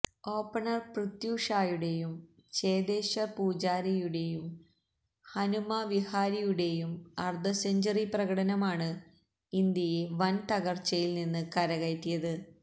opener Prithvi ഷായുടെയും ചേതേശ്വർ പൂജാരയുടെയും ഹനുമ വിഹാരിയുടടെയും അർധസെഞ്ചുറി പ്രകടനമാണ് ഇന്ത്യയെ വൻതകർച്ചയിൽ നിന്ന് കരകയറ്റിയത്